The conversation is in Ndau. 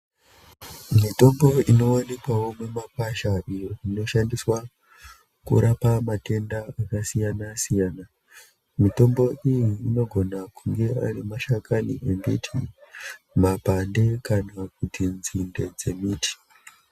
Mitombo inowanikwawo mumakwasha iyo inoshandiswa kurapa matenda akasiyana-siyana, mitombo iyi inogona kunge ari mashakani embiti, mapande kana kuti dzinde dzembiti.